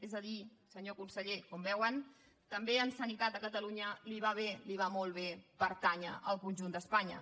és a dir senyor conseller com veuen també en sanitat a catalunya li va bé li va molt bé pertànyer al conjunt d’espanya